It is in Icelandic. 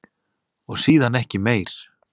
Og síðan ekki meir?